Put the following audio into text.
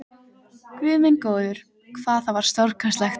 Guð minn góður, hvað það var stórkostlegt!